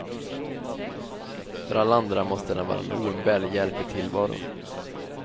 För alla andra måste den vara en oumbärlig hjälp i tillvaron.